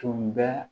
Tun bɛ